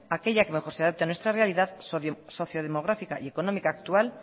aquella que mejor se adopte a nuestra realidad sociodemográfica y económica actual